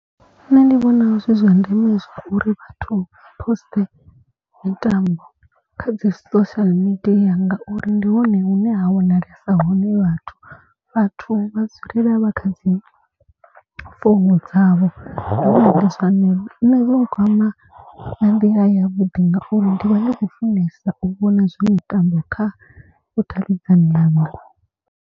Nṋe ndi vhona zwi zwa ndeme uri vhathu vha post mitambo kha dzi social media ngauri ndi hone hune ha wanalesa hone vhathu. Vhathu vha dzulela vha kha dzi founu dzavho zwenezwo nṋe zwi nkwama nga nḓila ya vhuḓi. Ngauri ndi vha ndi khou funesa u vhona zwa mitambo kha vhudavhidzani hanga.